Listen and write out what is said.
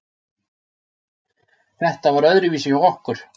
Þetta var öðruvísi hjá okkur.